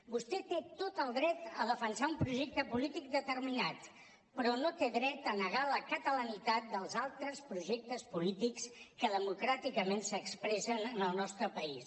vostè té tot el dret a defensar un projecte polític determinat però no té dret a negar la catalanitat dels altres projectes polítics que democràticament s’expressen en el nostre país